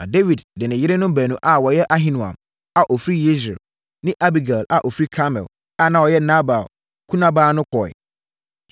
Na Dawid de ne yerenom baanu a wɔyɛ Ahinoam a ɔfiri Yesreel ne Abigail a ɔfiri Karmel a na ɔyɛ Nabal kunabaa no kɔeɛ.